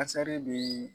Kasari bi